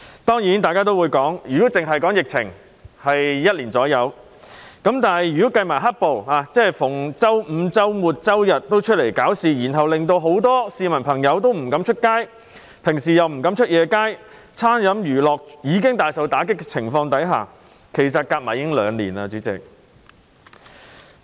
當然大家會說，疫情只有約1年，但如果計算"黑暴"，即每逢周五、周六、周日也有人外出搞事，令很多市民不敢外出，就是平日晚上亦不敢外出，餐飲娛樂業已經大受打擊，主席，這些時間加上來，其實已有兩年。